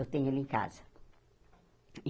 Eu tenho ele em casa.